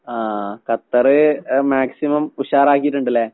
ആഹ് Qatar ഏഹ് maximum ഉഷാറാക്കീട്ട്ണ്ട്ല്ലേ?